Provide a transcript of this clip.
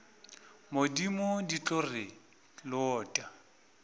modimo di tlo re lota